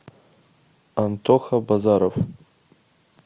антоха базаров